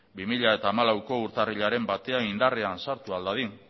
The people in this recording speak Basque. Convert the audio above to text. bi mila hamalaueko urtarrilaren batean indarrean sartu ahal dadin